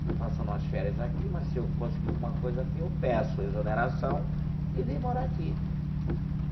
Estou passando umas férias aqui, mas se eu conseguir alguma coisa aqui, eu peço exoneração e venho morar aqui.